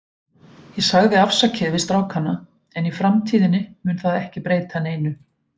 Ég sagði afsakið við strákana, en í framtíðinni mun það ekki breyta neinu.